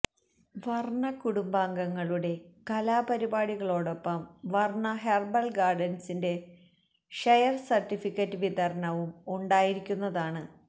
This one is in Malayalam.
വര്ണ കുടുംബാംഗ ങ്ങളുടെ കലാ പരിപാടി കളോടൊപ്പം വര്ണ ഹെര്ബല് ഗാര്ഡന്സിന്റെ ഷെയര് സര്ട്ടിഫിക്കറ്റ് വിതരണവും ഉണ്ടായിരിക്കുന്നതാണ്